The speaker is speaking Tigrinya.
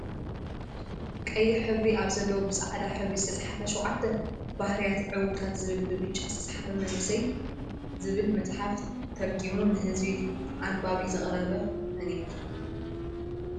ቀይሕ ሕብሪ ኣብ ዘለዎ ብፃዕዳ ሕብሪ ዝተፅሓፈ 7 ባህርያት ዕውታት ዝብልን ብብጫ ዝተፅሓፈ መንእሰያት ዝብል መፅሓፍ ተርጊሙ ንህዝቢ ኣንባቢ ዘቅረበ መን ይብሃል?